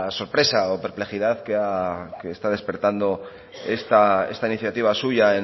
sorpresa o perplejidad que está despertando esta iniciativa suya